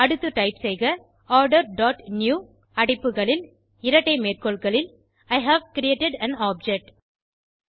அடுத்து டைப் செய்க order dot newஇ ஹேவ் கிரியேட்டட் ஆன் ஆப்ஜெக்ட்